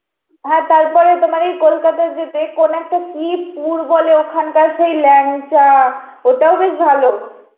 হা তারপরে তোমার ওই কলকাতা যেতে কোনো একটা কি পুর বলে ওখানকার সেই ল্যাংচা ওটাও বেশ ভালো.